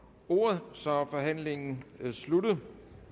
ordet så er forhandlingen sluttet